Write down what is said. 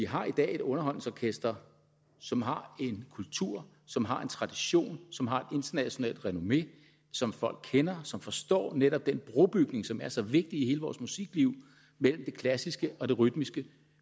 har et underholdningsorkester som har en kultur som har en tradition som har et internationalt renommé som folk kender og som forstår netop den brobygning som er så vigtig i hele vores musikliv mellem det klassiske og det rytmiske